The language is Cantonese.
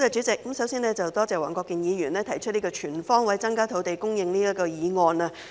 首先多謝黃國健議員提出"全方位增加土地供應"議案。